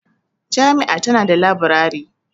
Jami'a tana da labirari.